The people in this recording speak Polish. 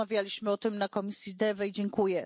Rozmawialiśmy o tym w komisji DEVE i dziękuję.